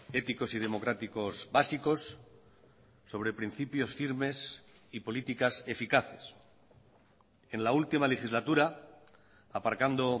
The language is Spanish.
éticos y democráticos básicos sobre principios firmes y políticas eficaces en la última legislatura aparcando